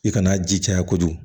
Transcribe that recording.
I kana ji caya kojugu